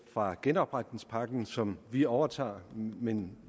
fra genopretningspakken som vi overtager men